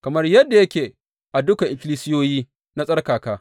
Kamar yadda yake a dukan ikkilisiyoyi na tsarkaka.